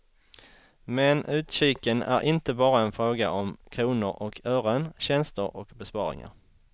Men utkiken är inte bara en fråga om kronor och ören, tjänster och besparingar.